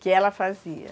Que ela fazia.